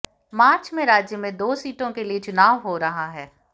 मार्च में राज्य में दो सीटों के लिए चुनाव हो रहा है